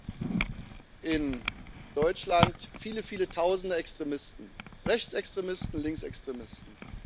Wir haben in Deutschland viele, viele Tausende Extremisten Rechtsextremisten, Linksextremisten.